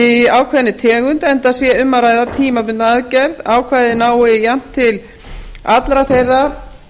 í ákveðinni tegund enda sé um að ræða tímabundna aðgerð ákvæðið nái jafnt til allra þeirra